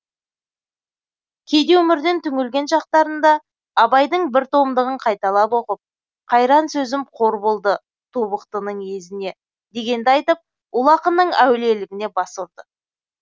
кейде өмірден түңілген шақтарында абайдың бір томдығын қайталап оқып қайран сөзім қор болды тобықтының езіне дегенді айтып ұлы ақынның әулиелігіне бас ұрды